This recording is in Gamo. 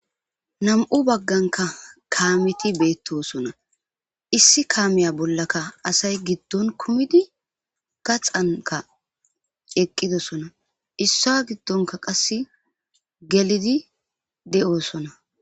Nam'u bagganka kaameti beettosona issi kaamiya bollaka asay giddon kumidi gaxanka eqqidosona issa giddonka qasse gelidi de'oosona.